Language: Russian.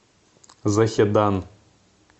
захедан